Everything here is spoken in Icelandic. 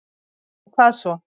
Og hvað svo?